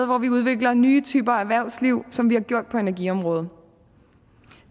hvor vi udvikler nye typer erhvervsliv som vi har gjort på energiområdet